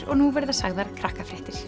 og nú verða sagðar